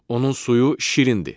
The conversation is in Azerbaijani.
Onun suyu şirindir.